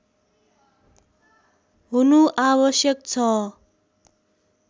हुनु आवश्यक छ